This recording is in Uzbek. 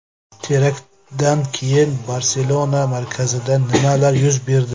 Teraktdan keyin Barselona markazida nimalar yuz berdi?